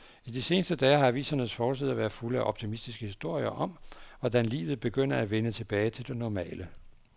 I de seneste dage har avisernes forsider været fulde af optimistiske historier om, hvordan livet begynder at vende tilbage til det normale.